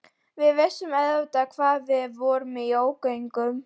Við vissum auðvitað að við vorum í ógöngum.